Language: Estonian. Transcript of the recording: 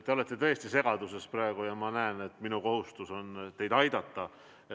Te olete tõesti praegu segaduses ja ma näen, et minu kohustus on teid aidata.